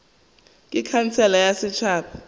ke khansele ya setšhaba ya